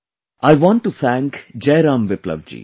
I want to thank Jai Ram Viplava ji